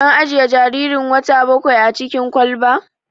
An ajiye jaririn wata bakwain a cikin kwalba?